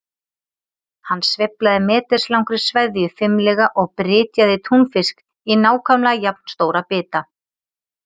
Hann sveiflaði meters langri sveðju fimlega og brytjaði túnfisk í nákvæmlega jafn stóra bita.